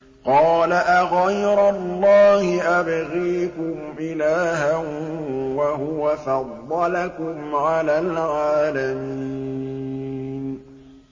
قَالَ أَغَيْرَ اللَّهِ أَبْغِيكُمْ إِلَٰهًا وَهُوَ فَضَّلَكُمْ عَلَى الْعَالَمِينَ